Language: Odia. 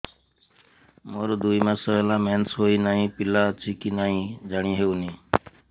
ମୋର ଦୁଇ ମାସ ହେଲା ମେନ୍ସେସ ହୋଇ ନାହିଁ ପିଲା ଅଛି କି ନାହିଁ ଜାଣି ହେଉନି